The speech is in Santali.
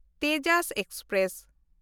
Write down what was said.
ᱛᱮᱡᱟᱥ ᱮᱠᱥᱯᱨᱮᱥ